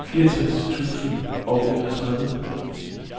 fireogtres tusind og enogtredive